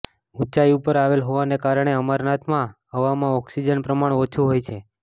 ઊચાઈ ઉપર આવેલ હોવાને કારણે અમરનાથમાં હવામાં ઓક્સિજન પ્રમાણ ઓછુ હોય છે